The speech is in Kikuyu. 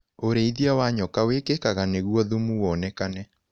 ũrĩithia wa nyoka wĩkĩkaga nĩguo thumu wonekane.